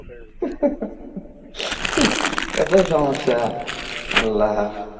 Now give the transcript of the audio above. এত সমস্যা, আল্লা.